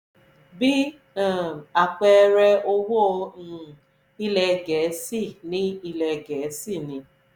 bí um àpẹẹrẹ owó um ilẹ̀ gẹ̀ẹ́sì ni ilẹ̀ gẹ̀ẹ́sì ni